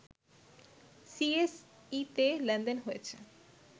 সিএসইতে লেনদেন হয়েছে